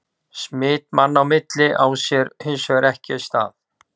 Smit manna á milli á sér hins vegar ekki stað.